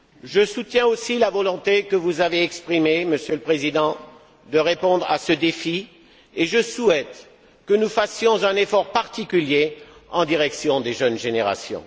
Je soutiens aussi la volonté que vous avez exprimée, Monsieur le Président, de répondre à ce défi et je souhaite que nous fassions un effort particulier en direction des jeunes générations.